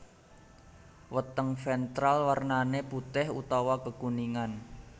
Weteng ventral wernané putih utawa kekuningan